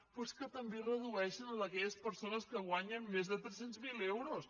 però és que també el redueixen a aquelles persones que guanyen més de tres cents miler euros